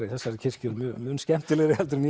í þessari kirkju eru mun skemmtilegri en